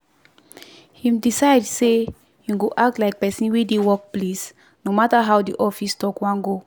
him decide say him go act like person wey dey work place no matter how the office talk wan go.